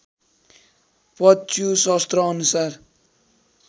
पच्यु शस्त्र अनुसार